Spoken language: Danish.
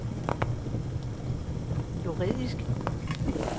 juridisk